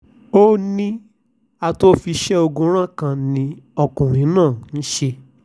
ó ní atòó-fiṣẹ́-ogun-rán ẹ̀dà kan ni ọkùnrin náà í ṣe